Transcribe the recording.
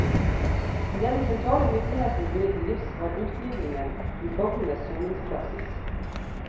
Det de sentrale myndighetene ville til livs var utglidningen i fogdenes soningspraksis.